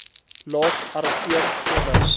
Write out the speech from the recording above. laat arresteer sonder